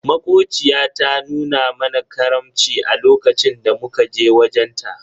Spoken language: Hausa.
Makociya ta nuna mana karamci a lokacin da muka je wajen ta.